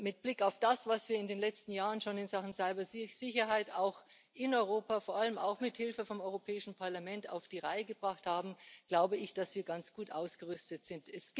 Mit Blick auf das, was wir in den letzten Jahren schon in Sachen Cybersicherheit in Europa vor allem auch mit Hilfe des Europäischen Parlaments auf die Reihe gebracht haben, glaube ich, dass wir ganz gut ausgerüstet sind.